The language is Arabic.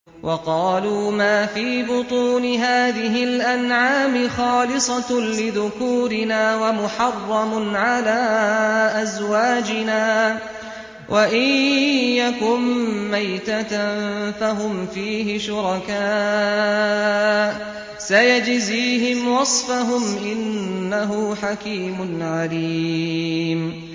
وَقَالُوا مَا فِي بُطُونِ هَٰذِهِ الْأَنْعَامِ خَالِصَةٌ لِّذُكُورِنَا وَمُحَرَّمٌ عَلَىٰ أَزْوَاجِنَا ۖ وَإِن يَكُن مَّيْتَةً فَهُمْ فِيهِ شُرَكَاءُ ۚ سَيَجْزِيهِمْ وَصْفَهُمْ ۚ إِنَّهُ حَكِيمٌ عَلِيمٌ